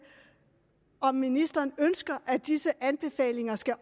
om ministeren ønsker at disse anbefalinger skal